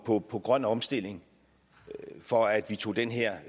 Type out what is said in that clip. på på grøn omstilling for at vi tog den her